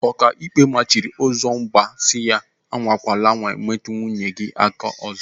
Okaikpe mmachiri Ụzọmba si, "Anwakwala anwa metụ nwunye gị aka ọzọ!"